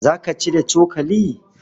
Za ka ci da cokali?